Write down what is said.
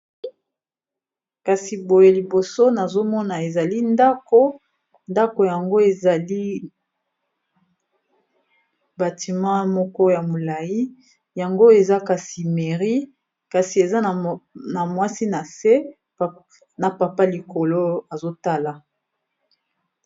kasi boye liboso nazomona ezali ndako ndako yango ezali batima moko ya molai yango eza kasi meri kasi eza na mwasi na se na papa likolo azotala